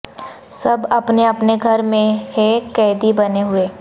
سب اپنے اپنے گھر میں ہیں قیدی بنے ہوئے